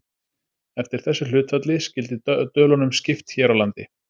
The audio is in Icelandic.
eftir þessu hlutfalli skyldi dölunum skipt hér á landi